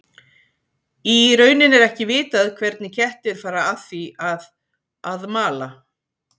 Í rauninni er ekki vitað hvernig kettir fara að því að að mala.